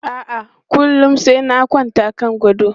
A'a, kullum sai na kwanta kan gado.